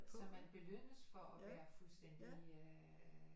Så man belønnes for at være fuldstændig øh